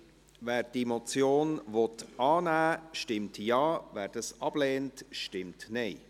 Wer die Motion annehmen will, stimmt Ja, wer dies ablehnt, stimmt Nein.